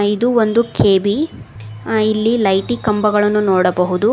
ಇದು ಒಂದು ಕೆ_ಬಿ ಅ ಇಲ್ಲಿ ಲೈಟಿ ಕಂಬಗಳನ್ನು ನೋಡಬಹುದು.